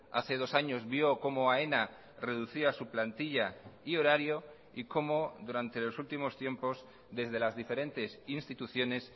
hace dos años vio como aena reducía su plantilla y horario y como durante los últimos tiempos desde las diferentes instituciones